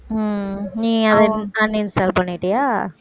உம் நீ அதை uninstall பண்ணிட்டியா